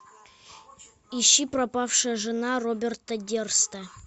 ищи пропавшая жена роберта дерста